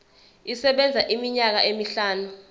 isebenza iminyaka emihlanu